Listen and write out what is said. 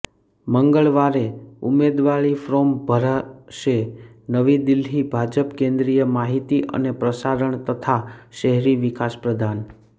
મંગળવારે ઉમેદવારી ફોર્મ ભરશે નવી દિલ્હીઃ ભાજપ કેન્દ્રીય માહિતી અને પ્રસારણ તથા શહેરી વિકાસ પ્રધાન